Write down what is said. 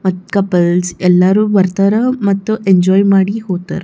ಮತ್ತ್ ಕಪಲ್ಸ್ ಎಲ್ಲಾರು ಬರತ್ತರ್ ಮತ್ತು ಎಂಜೋಯ್ ಮಾಡಿ ಹೋಗತ್ತರ್.